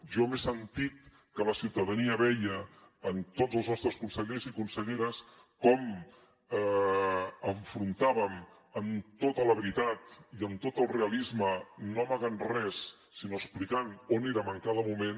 jo he sentit que la ciutadania veia en tots els nostres consellers i conselleres com enfrontàvem amb tota la veritat i amb tot el realisme no amagant res sinó explicant on érem en cada moment